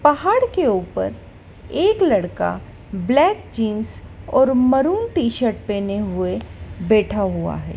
पहाड़ के ऊपर एक लड़का ब्लैक जीन्स और मरून टी_शर्ट पहने हुए बैठा हुआ है।